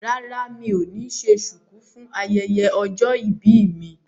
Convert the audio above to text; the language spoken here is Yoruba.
Rárá mi ò ní ṣe ṣùkú fún ayẹyẹ ọjọ́ ìbí mi